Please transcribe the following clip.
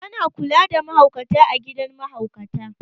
A na kula da mahaukata a gidan mahaukata